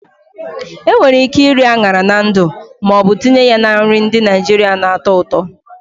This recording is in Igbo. Enwere ike iri añara na ndu ma ọ bụ tinye ya na nri ndị Naijiria na-atọ ụtọ.